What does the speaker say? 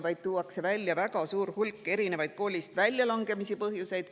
Seal tuuakse välja väga suur hulk erinevaid koolist väljalangemise põhjuseid.